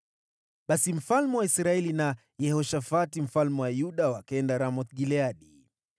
Basi mfalme wa Israeli na Yehoshafati mfalme wa Yuda wakaenda Ramoth-Gileadi.